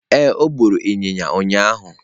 Ee, o gburu ịnyịnya ụnyahụ.